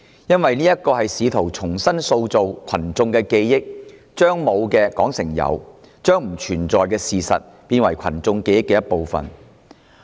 因為議案試圖重塑群眾記憶，將沒有的說成是有，將不存在的事實變成群眾記憶的一部分。